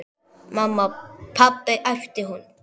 Mamma, pabbi æpti hún.